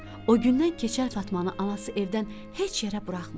O gündən Keçəl Fatmanı anası evdən heç yerə buraxmırdı.